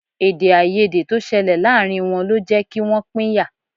Èdèàìyedè tó ṣẹlẹ̀ láàárín wọn lọ jẹ́ kí wọ́n pínyà